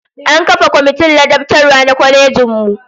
An kafa komitin ladabtarwa na kwalejin mu